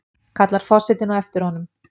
kallar forsetinn á eftir honum.